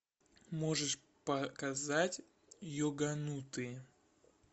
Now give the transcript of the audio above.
можешь показать йоганутые